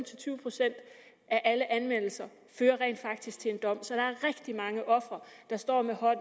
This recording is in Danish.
til tyve procent af alle anmeldelser fører rent faktisk til en dom så der er rigtig mange ofre der står med håret